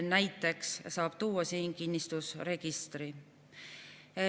Näiteks saab siin tuua kinnistusregistri.